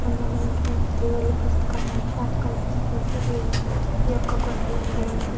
చిత్రం లో మనకి దేవుళ్ళ పుస్తకాలు షాప్ కనిపిస్తుంది. ఈ ఈ యొక్క కొట్టులో --